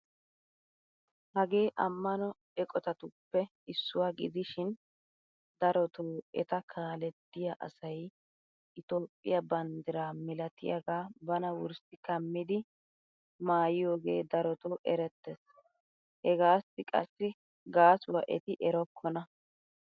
Hagee ammano eqotatuppe issuwaa gidishin darotoo eta kaalettiyaa asay itoophphiyaa banddiraa mailatiyaaga bana wurssi kamidi maayiyoogee darotoo erettees! hegaassi qassi gaasuwaa eti erokkona!